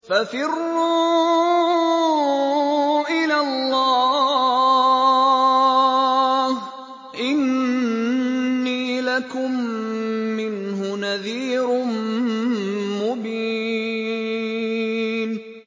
فَفِرُّوا إِلَى اللَّهِ ۖ إِنِّي لَكُم مِّنْهُ نَذِيرٌ مُّبِينٌ